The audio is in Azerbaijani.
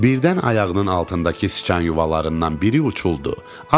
Birdən ayağının altındakı sıçan yuvalarından biri uçuldu.